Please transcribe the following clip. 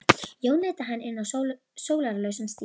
Jón leiddi hana inn á sólarlausan stíg.